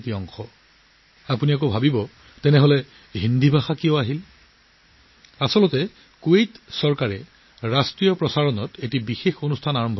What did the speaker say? এতিয়া আপুনি ভাবিব যে কুৱেইটৰ ভাষাত কথা পাতিছে গতিকে হিন্দী ক'ৰ পৰা আহিল আচলতে কুৱেইট চৰকাৰে নিজৰ ৰাষ্ট্ৰীয় ৰেডিঅ'ত এক বিশেষ কাৰ্যসূচী আৰম্ভ কৰিছে